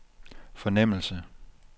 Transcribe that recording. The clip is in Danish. fornemmelse